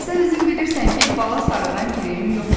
Sən özün bilirsən ki, bala sarıdan girəyim yoxdur.